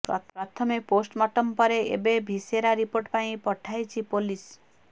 ପ୍ରଥମେ ପୋଷ୍ଟମର୍ଟମ ପରେ ଏବେ ଭିସେରା ରିପୋର୍ଟ ପାଇଁ ପଠାଇଛି ପୋଲିସ